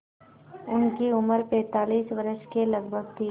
उनकी उम्र पैंतालीस वर्ष के लगभग थी